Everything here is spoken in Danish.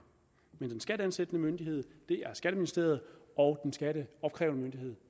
men den skatteansættende myndighed er skatteministeriet og skatteopkrævende myndighed